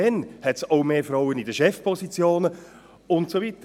Dann gibt es auch mehr Frauen in Chefpositionen, und so weiter.